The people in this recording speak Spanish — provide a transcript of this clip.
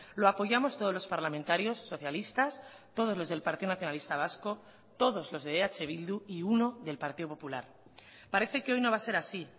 lo apoyamos todos los parlamentarios socialistas todos los del partido nacionalista vasco todos los de eh bildu y uno del partido popular parece que hoy no va a ser así